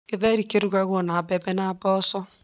Githeri kĩrugagwo na mbembe na mboco.